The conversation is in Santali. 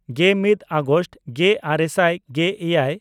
ᱜᱮᱢᱤᱫ ᱟᱜᱚᱥᱴ ᱜᱮᱼᱟᱨᱮ ᱥᱟᱭ ᱜᱮᱼᱮᱭᱟᱭ